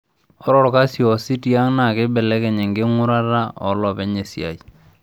Ore olkasi oosi tiang' naa keibelekeny enking'urata oolopeny esiai.